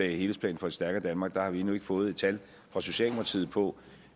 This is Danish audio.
helhedsplanen for et stærkere danmark har vi endnu ikke fået et tal fra socialdemokratiet på